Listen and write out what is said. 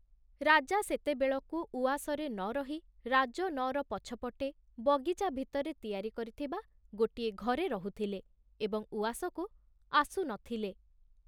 ରାଜା ସେତେବେଳକୁ ଉଆସରେ ନ ରହି ରାଜନଅର ପଛପଟେ ବଗିଚା ଭିତରେ ତିଆରି କରିଥିବା ଗୋଟିଏ ଘରେ ରହୁଥିଲେ ଏବଂ ଉଆସକୁ ଆସୁ ନ ଥିଲେ।